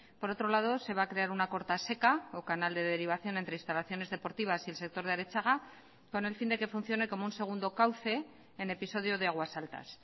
por otro lado se va a crear una corta seca o canal de derivación entre instalaciones deportivas y el sector de arechaga con el fin de que funcione como un segundo cauce en episodio de aguas altas